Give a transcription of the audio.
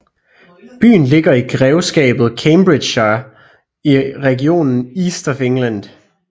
Byen ligger i grevskabet Cambridgeshire i regionen East of England